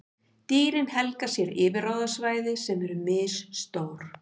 Dýrin helga sér yfirráðasvæði sem eru misstór.